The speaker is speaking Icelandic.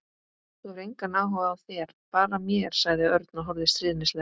Hún hefur engan áhuga á þér, bara mér sagði Örn og horfði stríðnislega á